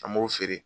An b'o feere